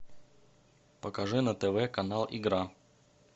покажи на тв канал игра